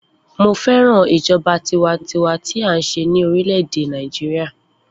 Mo fẹ́ràn ìjọba tiwańtiwa tí à ńṣe ní orílè - èdè Nàìjíríà.